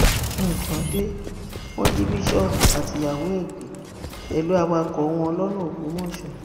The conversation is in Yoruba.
nǹkan dé wọn jí bíṣọọbù àtìyàwó ẹ gbé pẹlú awakọ wọn lọnà ògbómọṣọ